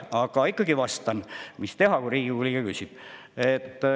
Aga ikkagi vastan – mis teha, kui Riigikogu liige küsib.